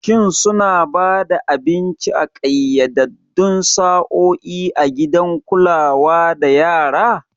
Shin suna ba da abinci a ƙayyadaddun sa'o'i a gidan kulawa da yara?